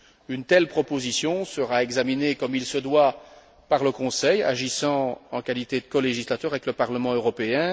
Une telle proposition sera examinée, comme il se doit, par le Conseil, agissant en qualité de colégislateur avec le Parlement européen.